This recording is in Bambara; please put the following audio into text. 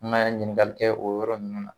N'a y'a ɲiningali kɛ o yɔrɔ ninnu na.